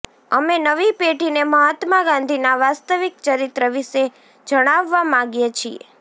અમે નવી પેઢીને મહાત્મા ગાંધીના વાસ્તવિક ચરિત્ર વિશે જણાવવા માગીએ છે